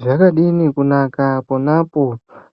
Zvakadini kunaka pona apo